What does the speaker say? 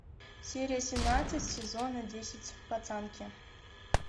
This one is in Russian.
серия семнадцать сезона десять пацанки